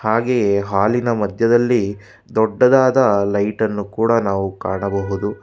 ಹಾಗೆಯೆ ಹಾಲಿ ನ ಮದ್ಯದಲ್ಲಿ ದೊಡ್ಡದಾದ ಲೈಟ್ ನ್ನು ಕೂಡ ನಾವು ಕಾಣಬಹುದು.